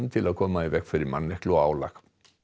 til að koma í veg fyrir manneklu og álag